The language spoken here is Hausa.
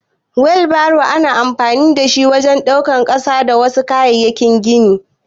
Wilbaro ana amfani da shi wajen daukan ƙasa da wasu kayayyakin gini.